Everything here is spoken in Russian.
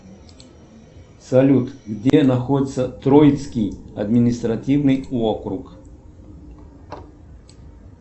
салют где находится троицкий административный округ